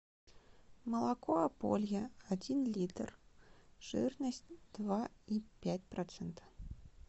молоко аполье один литр жирность два и пять процента